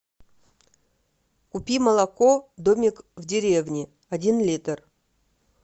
купи молоко домик в деревне один литр